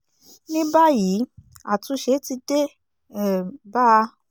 ní báyìí àtúnṣe ti dé um bá a